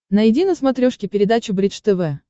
найди на смотрешке передачу бридж тв